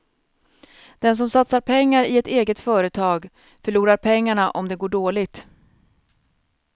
Den som satsar pengar i ett eget företag förlorar pengarna om det går dåligt.